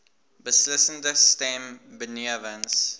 beslissende stem benewens